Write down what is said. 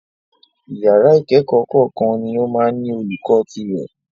Ìyàrá ìkẹ́kọ̀ọ́ kọ̀ọ̀kan ní o máa ń ní olùkó tirẹ̀.